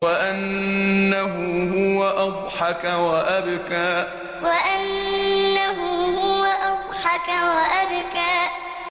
وَأَنَّهُ هُوَ أَضْحَكَ وَأَبْكَىٰ وَأَنَّهُ هُوَ أَضْحَكَ وَأَبْكَىٰ